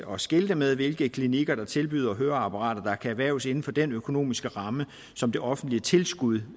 og skilte med hvilke klinikker der tilbyder høreapparater der kan erhverves inden for den økonomiske ramme som det offentlige tilskud